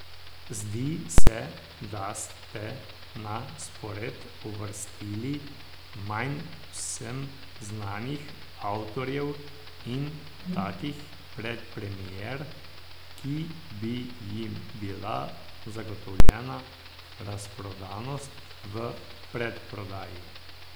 Zdi se, da ste na spored uvrstili manj vsem znanih avtorjev in takih predpremier, ki bi jim bila zagotovljena razprodanost v predprodaji.